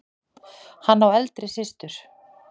Hann á eldri systur.